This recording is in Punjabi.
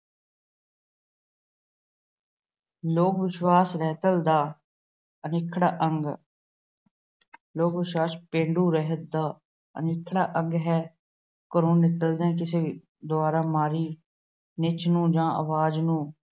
ਲੋਕ ਵਿਸ਼ਵਾਸ ਰਹਿਤ ਦਾ ਅਨਿਖੜਵਾਂ ਅੰਗ ਅਹ ਲੋਕ ਵਿਸ਼ਵਾਸ ਰਹਿਤ ਦਾ ਅਨਿਖੜਵਾਂ ਅੰਗ ਹੈ। ਘਰੋਂ ਨਿਕਲਦਿਆਂ ਕਿਸੇ ਦੁਆਰਾ ਮਾਰੀ ਨਿੱਛ ਨੂੰ ਜਾਂ ਆਵਾਜ ਨੂੰ